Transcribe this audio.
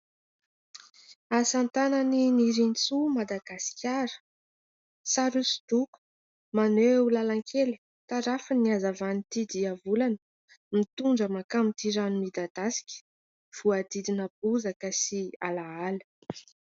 Asa tanan'i Nirintso Madagasikara : sary hosodoko maneho làlan-kely tarafin'ny hazavan'ity diavolana, mitondra mankany amin'ity rano midadasika voadidina bozaka sy alahala.